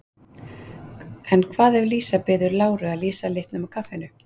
En hvað ef Lísa biður Láru að lýsa litnum á kaffinu?